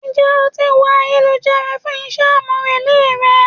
Ń jẹ́ o ti wo ayélujára fún iṣẹ́ àmúrelé rẹ?